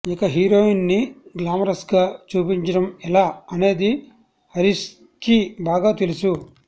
ఇక హీరోయిన్స్ని గ్లామరస్గా చూపించడం ఎలా అనేది హరీష్కి బాగా తెలుసు